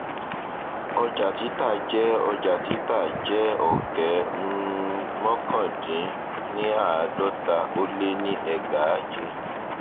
ọjà títà jẹ ọjà títà jẹ ọkẹ um mọkàndínníàádọta ó lé ní ẹgbàáje